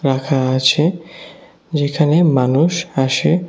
পাখা আছে যেখানে মানুষ আসে।